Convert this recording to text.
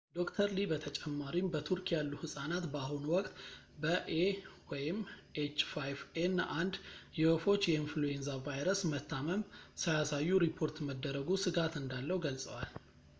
ዶ/ር ሊ በተጨማሪም በቱርክ ያሉ ህጻናት በአሁኑ ወቅት በ ኤኤች 5 ኤን 1 የወፎች የኢንፍሉዌንዛ ቫይረስ መታመም ሳያሳዩ ሪፖርት መደረጉ ስጋት እንዳለው ገልጸዋል